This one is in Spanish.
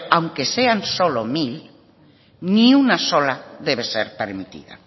aunque sean solo mil ni una sola debe ser permitida